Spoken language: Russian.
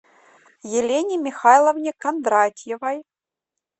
елене михайловне кондратьевой